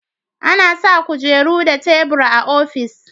A na sa kujeru da tebur a ofis